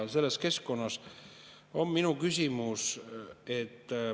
Selles keskkonnas on minu küsimus …